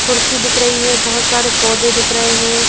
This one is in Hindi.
कुर्सी दिख रही है बहुत सारे पौधे दिख रहे हैं।